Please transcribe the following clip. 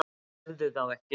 Tefðu þá ekki.